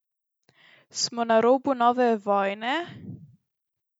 Smo na robu nove vojne?